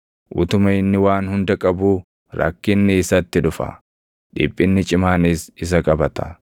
Utuma inni waan hunda qabuu rakkinni isatti dhufa; dhiphinni cimaanis isa qabata.